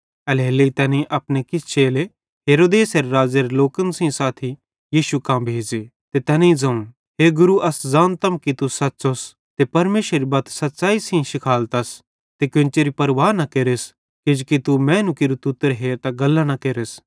एल्हेरेलेइ तैनेईं अपने किछ चेले हेरोदेस राज़ेरे लोकन सेइं साथी यीशु कां भेज़े ते तैनेईं ज़ोवं हे गुरू अस ज़ानतम कि तू सच़्चोस ते परमेशरेरी बत सच़्च़ैइं सेइं शिखालतस ते कोन्चेरी परवाह न केरस किजोकि तू मैनू केरू तुतर हेरतां गल्लां न केरस